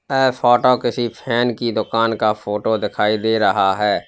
ये फोटो किसी फैन की दुकान का फोटो दिखाई दे रहा है।